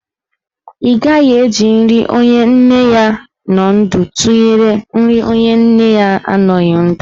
Ị gaghị eji nri onye nne ya nọ ndụ tụnyere nri onye nne ya anọghị ndụ.